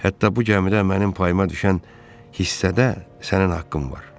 Hətta bu gəmidə mənim payıma düşən hissədə sənin haqqın var.